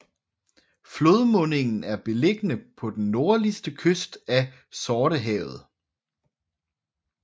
Flodmundingen er beliggende på den nordlige kyst af Sortehavet